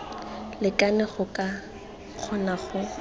lekane go ka kgona go